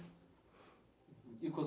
E com as